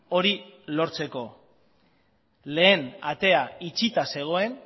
hori lortzeko lehen atea itxita zegoen